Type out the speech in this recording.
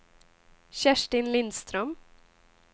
Kerstin Lindström